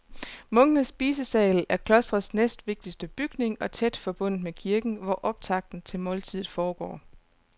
Munkenes spisesal er klostrets næstvigtigste bygning og tæt forbundet med kirken, hvor optakten til måltidet foregår.